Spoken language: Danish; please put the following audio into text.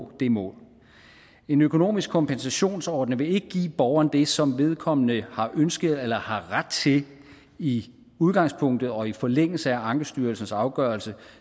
det mål en økonomisk kompensationsordning vil ikke give borgeren det som vedkommende har ønsket eller har ret til i udgangspunktet og i forlængelse af ankestyrelsens afgørelse